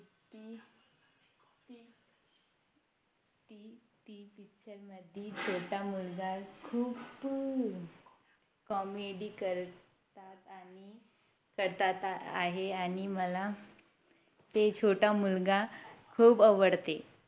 Picture मध्ये छोटा मुलगा खूप अं Comedy करतात आणि करतात आहे आणि मला ते छोटा मुलगा खूप आवडते